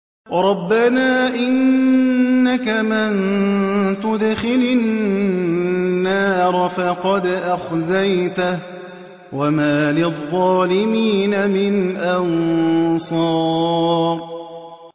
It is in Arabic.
رَبَّنَا إِنَّكَ مَن تُدْخِلِ النَّارَ فَقَدْ أَخْزَيْتَهُ ۖ وَمَا لِلظَّالِمِينَ مِنْ أَنصَارٍ